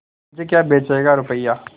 मुझे क्या बेचेगा रुपय्या